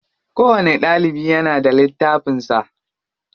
Kowani ɗalibi yana da littafin sa.